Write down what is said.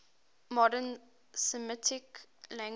modern semitic languages